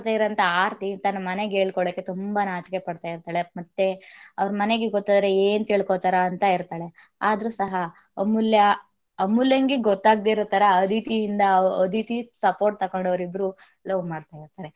ಆರತಿ ತನ್ನ ಮನೆಗೆ ಹೇಳ್ಕೋಳಕ್ಕೆ ತುಂಬಾ ನಾಚಿಕೆ ಪಡ್ತಾ ಇರ್ತಳೆ ಮತ್ತೆ ಅವರ ಮನೆಗೆ ಗೊತ್ತಾದರೆ ಏನ್ ತಿಳ್ಕೊಳ್ತಾರೆ ಅಂತ ಇರ್ತಳೆ ಆದ್ರೂ ಸಹ ಅಮೂಲ್ಯ~ ಅಮೂಲ್ಯಗೇ ಗೊತ್ತಾಗದೆ ಇರೋತರ ಅದಿತಿಯಿಂದ ಅದಿತಿ support , ತಕ್ಕೊಂಡು ಅವರಿಬ್ಬರು love.